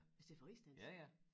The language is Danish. I stedet for rigsdansk